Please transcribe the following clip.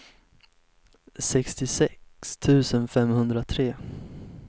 sextiosex tusen femhundratre